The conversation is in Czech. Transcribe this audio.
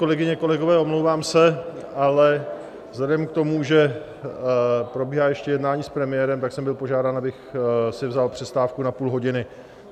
Kolegyně, kolegové, omlouvám se, ale vzhledem k tomu, že probíhá ještě jednání s premiérem, tak jsem byl požádán, abych si vzal přestávku na půl hodiny.